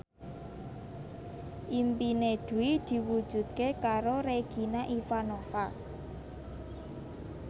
impine Dwi diwujudke karo Regina Ivanova